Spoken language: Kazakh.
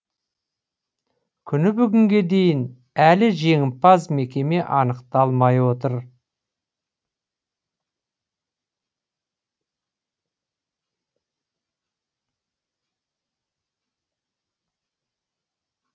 күні бүгінге дейін әлі жеңімпаз мекеме анықталмай отыр